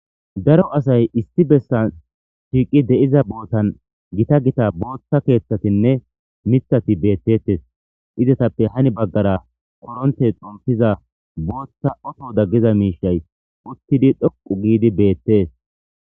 daro asay issi bessan shiiqi de7iza bootan gita gita booththa keeththatinne mithati beettettes izatappe hani baggara koronte xompiza booththa oto daggiza miishay uttidi dhoqu giidi beettees